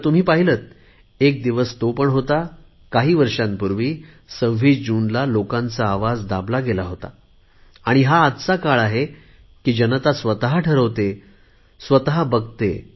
तर तुम्ही पाहिलेत एक दिवस तो पण होता काही वर्षापूर्वी 26 जूनला लोकांचा आवाज दाबला गेला होता आणि हा आजचा काळ आहे की जनता स्वत ठरवते बघते